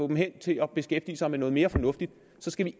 dem til at beskæftige sig med noget mere fornuftigt så skal